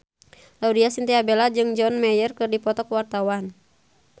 Laudya Chintya Bella jeung John Mayer keur dipoto ku wartawan